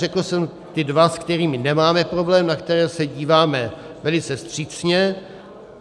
Řekl jsem ty dva, se kterými nemáme problém, na které se díváme velice vstřícně.